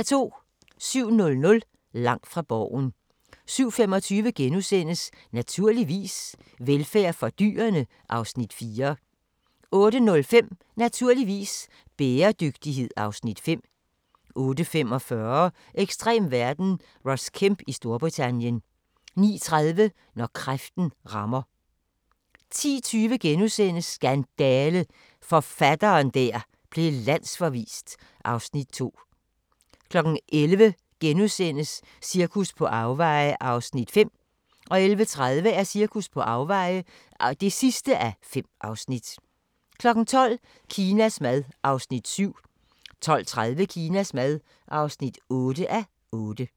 07:00: Langt fra Borgen 07:25: Naturligvis - velfærd for dyrene (Afs. 4)* 08:05: Naturligvis - bæredygtighed (Afs. 5) 08:45: Ekstrem verden – Ross Kemp i Storbritannien 09:30: Når kræften rammer 10:20: Skandale! – forfatteren der blev landsforvist (Afs. 2)* 11:00: Cirkus på afveje (4:5)* 11:30: Cirkus på afveje (5:5) 12:00: Kinas mad (7:8) 12:30: Kinas mad (8:8)